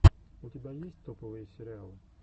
у тебя есть топовые сериалы